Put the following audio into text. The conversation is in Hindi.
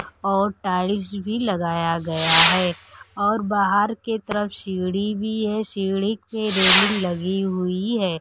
और टाइल्स भी लगाया गया है। और बाहर के तरफ सीढ़ी भी है सीढ़ी पे रेलिंग लगी हुई है।